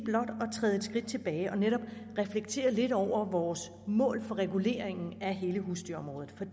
skridt tilbage og netop reflektere lidt over vores mål for reguleringen af hele husdyrområdet